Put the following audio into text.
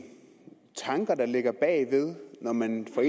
tanker der ligger bag når man fra